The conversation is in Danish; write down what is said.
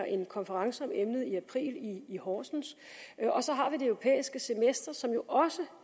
en konference om emnet i april i i horsens og så har vi det europæiske semester som jo også